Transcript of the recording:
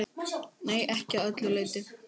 Nei, ekki að öllu leyti.